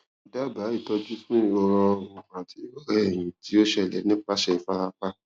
dábàá ìtọjú fún ìrora ọrùn àti ìrora ẹyìn tí ó ṣẹlẹ nípasẹ ìfarapa